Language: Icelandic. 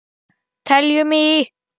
Teljum í!